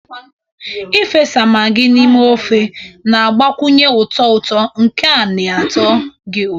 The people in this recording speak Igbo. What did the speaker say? Ị fesa Maggi n'ime ofe, na-agbakwunye ụtọ ụtọ nke na-atọ gị ụtọ.